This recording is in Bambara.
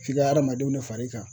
F'i ka hadamadenw de far'i kan.